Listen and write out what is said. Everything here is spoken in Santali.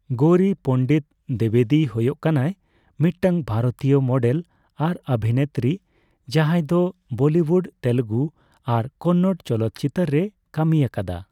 ᱜᱳᱣᱨᱤ ᱯᱚᱱᱰᱤᱛ ᱫᱤᱵᱮᱫᱤ ᱦᱳᱭᱚᱜ ᱠᱟᱱᱟᱭ ᱢᱤᱫᱴᱟᱝ ᱵᱷᱟᱨᱚᱛᱤᱭᱚ ᱢᱚᱰᱮᱞ ᱟᱨ ᱚᱵᱷᱤᱱᱮᱛᱨᱤ ᱡᱟᱦᱟᱸᱭ ᱫᱚ ᱵᱚᱞᱤᱣᱩᱰ, ᱛᱮᱞᱮᱜᱩ ᱟᱨ ᱠᱚᱱᱱᱚᱲ ᱪᱚᱞᱚᱛᱪᱤᱛᱟᱹᱨ ᱨᱮᱭ ᱠᱟᱹᱢᱤ ᱟᱠᱟᱫᱟ ᱾